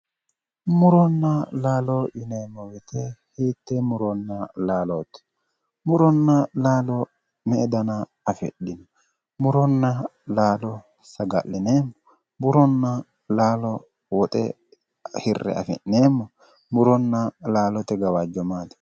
Muronna laalo yineemo woyite hitee muronna lalooti? Murona laalo me"e dana afidhino? Muronna laalo saga'lineemo? muronna laalo woxe hirre afi'neemo? Muronna laalote gawajjo maati?